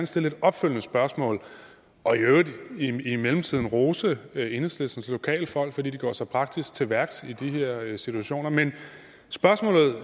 stille et opfølgende spørgsmål og i øvrigt i mellemtiden rose enhedslistens lokale folk fordi de går så praktisk til værks i de her situationer men spørgsmålet